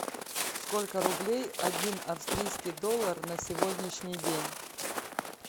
сколько рублей один австрийский доллар на сегодняшний день